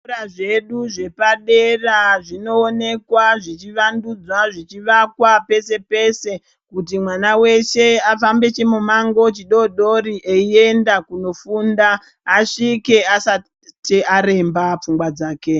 Zvikora zvedu zvepadera zvinooneka zvichivandudza zvichivakwa peshe peshe kuti mwana weshe afambe chimumango chidoodori eyienda kunofunda asvike asati aremba pfungwa dzake.